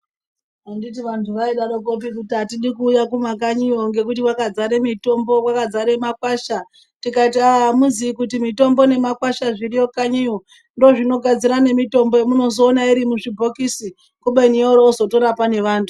Anditi vanthu vaidaroko kee kuti atidi kuuya kumakanyiyo ngekuti kwakazare mithombo, kwakazare makwasha, tikati aa amiziyi kuti mithombo nemakwasha zviriyo kanyiyo ndoozvinogadzira nemithombo yemunozoona iri muzvibhokisi kubeni yoro yozotora pane vanthu.